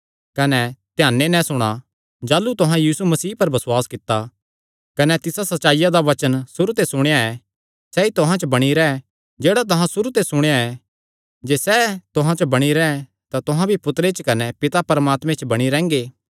कने ध्याने नैं सुणा जाह़लू तुहां यीशु मसीह पर बसुआस कित्ता कने तिसा सच्चाईया दा वचन सुरू ते सुणेया ऐ सैई तुहां च बणी रैंह् जेह्ड़ा तुहां सुरू ते सुणेया ऐ जे सैह़ तुहां च बणी रैंह् तां तुहां भी पुत्तरे च कने पिता परमात्मे च बणी रैंह्गे